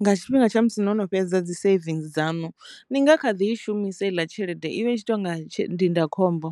nga tshifhinga tsha musi no no fhedza dzi saving dzanu ni nga kha ḓi i shumisa iḽa tshelede i vha i tshi to nga ndindakhombo.